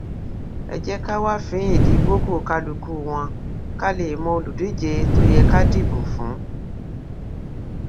ẹ jẹ ká wá fínin ìdí kókò kálukú wọn ká lè mọ olùdíje tó yẹ ká dìbò fún